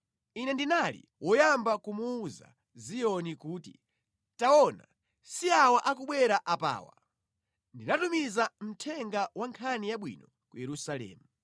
Ine ndinali woyamba kumuwuza Ziyoni kuti, ‘Taona, si awa akubwera apawa!’ Ndinatumiza mthenga wa nkhani yabwino ku Yerusalemu.